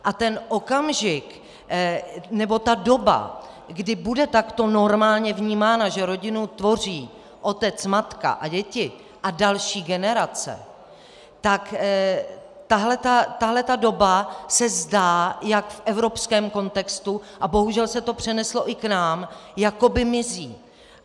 A ten okamžik, nebo ta doba, kdy bude takto normálně vnímáno, že rodinu tvoří otec, matka a děti a další generace, tak tahleta doba se zdá jak v evropském kontextu, a bohužel se to přeneslo i k nám, jakoby mizí.